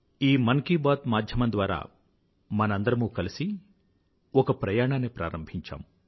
ఈ మన్ కీ బాత్ మాధ్యమం ద్వారా మనందరమూ కలిసి ఒక ప్రయాణాన్ని ప్రారంభించాము